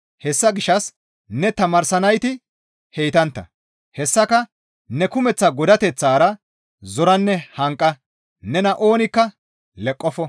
Hessa gishshas ne tamaarsanayti heytantta; hessaka ne kumeththa godateththara zoranne hanqa; nena oonikka leqqofo.